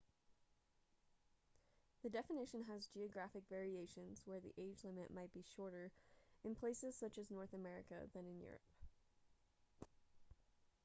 the definition has geographic variations where the age limit might be shorter in places such as north america than in europe